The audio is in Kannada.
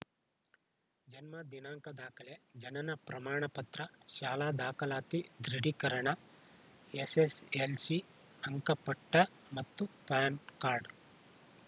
ಜನ್ಮ ದಿನಾಂಕ ದಾಖಲೆ ಜನನ ಪ್ರಮಾಣ ಪತ್ರ ಶಾಲಾ ದಾಖಲಾತಿ ದೃಢೀಕರಣ ಎಸ್‌ಎಸ್‌ಎಲ್‌ಸಿ ಅಂಕಪಟ್ಟಮತ್ತು ಪಾನ್‌ ಕಾರ್ಡ್‌